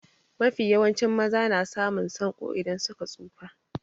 Mafi yawancin maza na samun sanƙo idan suka tsufa.